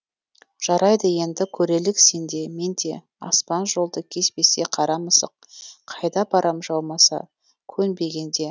жарайды енді көрелік сен де мен де аспан жолды кеспесе қара мысық қайда барам жаумаса көнбегенде